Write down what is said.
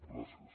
gràcies